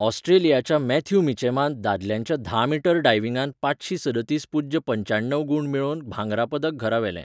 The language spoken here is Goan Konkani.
ऑस्ट्रेलियेच्या मॅथ्यू मिचॅमान दादल्यांच्या धा मीटर डायविंगांत पांचशीं सदतीस पूज्य पंच्याण्णव गूण मेळोवन भांगरा पदक घरा व्हेलें.